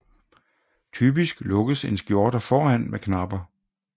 Typisk lukkes en skjorte foran med knapper